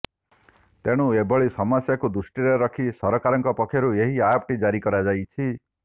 ତେଣୁ ଏଭଳି ସମସ୍ୟାକୁ ଦୃଷ୍ଟିରେ ରଖି ସରକାରଙ୍କ ପକ୍ଷରୁ ଏହି ଆପଟି ଜାରି କରାଯାଇଛି